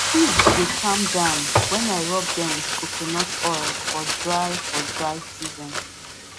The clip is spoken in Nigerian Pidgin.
pigs dey calm down when i rub them with coconut oil for dry for dry season